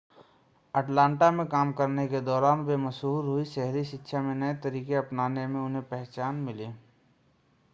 Atlanta में काम करने के दौरान वे मशहूर हुईं शहरी शिक्षा में नए तरीके अपनाने में उन्हें पहचान मिली